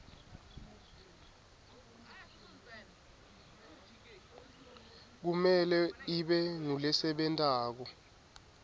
kumele ibe ngulesebentako